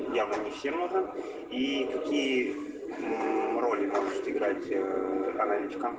я бы не всем и такие роли научиться играть